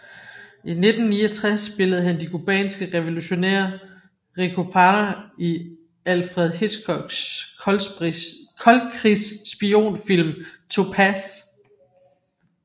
I 1969 spillede han de cubanske revolutionær Rico Parra i Alfred Hitchcocks koldkrigs spionfilm Topaz